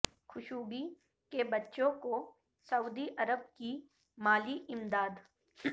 Khashoggi کے بچوں کو سعودی عرب کی مالی امداد